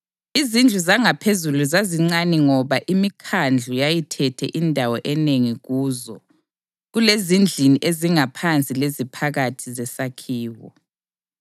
Izindlu zangaphezulu zazincane ngoba imikhandlu yayithethe indawo enengi kuzo kulezindlini ezingaphansi leziphakathi zesakhiwo.